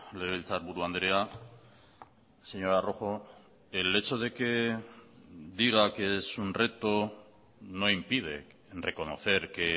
legebiltzarburu andrea señora rojo el hecho de que diga que es un reto no impide reconocer que